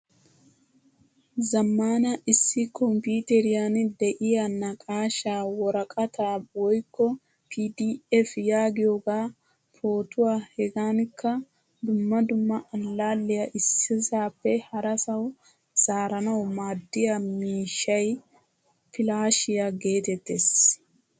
Zamaana issi komppiteriyan de'iyaa naaqashshaa worqata woykko pdf yaagiyogaa, pootuwaa hegankka dumma dumma allaiyaa issisappe harasawu zaaranawu maadiyaa miishshay pilaashiya geetettees.